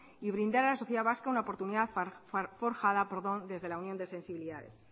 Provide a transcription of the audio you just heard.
y brindar a la sociedad vasca una oportunidad forjada desde la unión de sensibilidades